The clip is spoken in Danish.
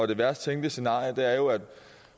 det værst tænkelige scenarie er jo at